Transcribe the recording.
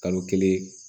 Kalo kelen